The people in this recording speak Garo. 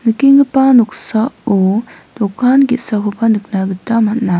nikenggipa noksao dokan ge·sakoba nikna gita man·a.